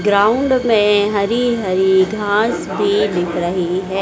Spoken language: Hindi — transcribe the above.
ग्राउंड में हरी हरी घास भी दिख रही है।